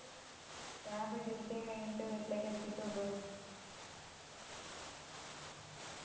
ഞാൻ ഇപ്പൊ duty കഴിഞ്ഞിട്ട് വീട്ടിൽ എത്തിട്ടൊള്ളൂ